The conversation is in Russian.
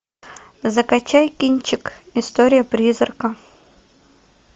закачай кинчик история призрака